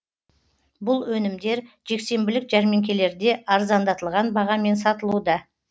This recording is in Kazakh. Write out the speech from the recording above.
бұл өнімдер жексенбілік жәрмеңкелерде арзандатылған бағамен сатылуда